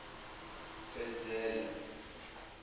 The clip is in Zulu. fezela